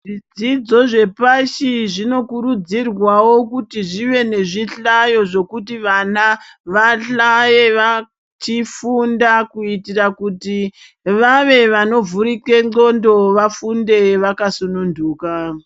Zvidzodzo zvepashi zvinokurudzirwawo kuti zvive nezvihlayo zvekuti vana vahlaye vachifunda kuitira kuti vave vanovhurike ndxondo vafunde vakasununduka.